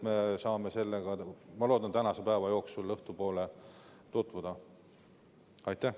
Ma loodan, et me saame sellega tänase päeva jooksul tutvuda, õhtupoole.